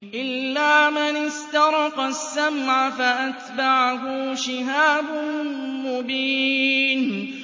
إِلَّا مَنِ اسْتَرَقَ السَّمْعَ فَأَتْبَعَهُ شِهَابٌ مُّبِينٌ